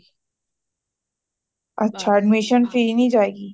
ਅੱਛਾ admission fees ਨਹੀਂ ਜਾਏਗੀ